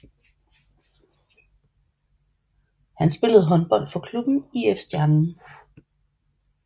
Han spillede håndbold for klubben IF Stjernen